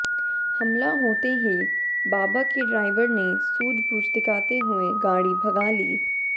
हमला होते ही बाबा के ड्राइवर ने सूझबूझ दिखाते हुए गाड़ी भगा ली